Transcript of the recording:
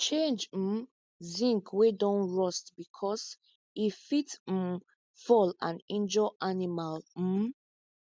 change um zinc wey don rust because e fit um fall and injure animal um